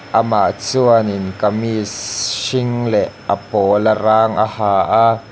amah chuanin kamees hring leh a pawla rang a ha a--